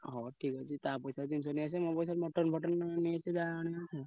ହଁ ଠିକ ଅଛି। ତା ପଇସାରେ ଜିନିଷ ନେଇଆସିବ ମୋ ପଇସାରେ mutton ଫଟନ ନେଇଆସିବ ଯାହା ।